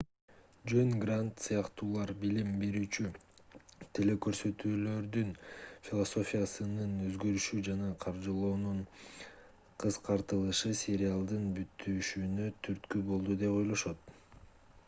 жон грант сыяктуулар билим берүүчү телекөрсөтүүлөрдүн философиясынын өзгөрүшү жана каржылоонун кыскартылышы сериалдын бүтүшүнө түрткү болду деп ойлошот